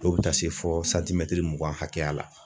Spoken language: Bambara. Dɔw bi taa se fɔ mugan hakɛya la